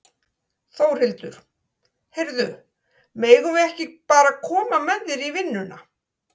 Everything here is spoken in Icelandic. Þórhildur: Heyrðu, megum við ekki bara koma með þér í vinnuna?